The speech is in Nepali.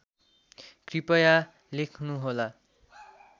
कृपया लेख्नुहोला